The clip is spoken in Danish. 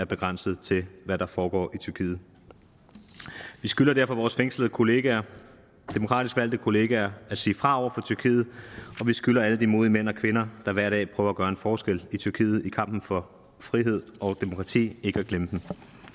begrænset til hvad der foregår i tyrkiet vi skylder derfor vores fængslede kollegaer demokratisk valgte kollegaer at sige fra over tyrkiet og vi skylder alle de modige mænd og kvinder der hver dag prøver at gøre en forskel i tyrkiet i kampen for frihed og demokrati ikke at glemme dem